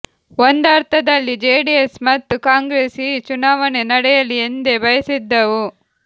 ಒಂದರ್ಥದಲ್ಲಿ ಜೆಡಿಎಸ್ ಮತ್ತು ಕಾಂಗ್ರೆಸ್ ಈ ಚುನಾವಣೆ ನಡೆಯಲಿ ಎಂದೇ ಭಯಸಿದ್ದವು